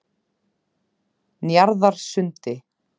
Njarðarsundi